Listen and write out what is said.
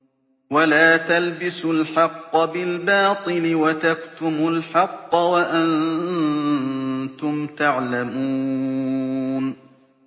وَلَا تَلْبِسُوا الْحَقَّ بِالْبَاطِلِ وَتَكْتُمُوا الْحَقَّ وَأَنتُمْ تَعْلَمُونَ